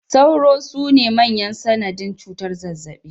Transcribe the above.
Sauro sune manyan sanadin cutar zazzaɓi